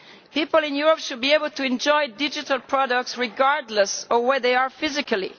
People in Europe should be able to enjoy digital products regardless of where they are physically.